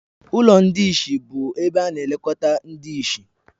Ụlọ ndị ìsì bụ ebe ana-elekọta ndị ìsì